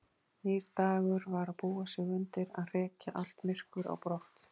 Nýr dagur var að búa sig undir að hrekja allt myrkur á brott.